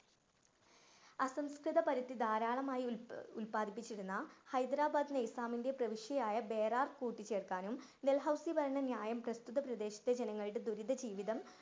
അസംസ്‌കൃതപരിധി ധാരാളമായി ഉത്പാതിപ്പിച്ചിരുന്ന ഹൈദരാബാദ് നിസാമിൻ്റെ പ്രവർഷിയായ കൂട്ടിച്ചേർക്കാനും ഡൽഹൌസി പറഞ്ഞ ന്യായം പ്രസ്തുത പ്രദേശത്തെ ജനങ്ങളുടെ ദുരിത ജീവിതം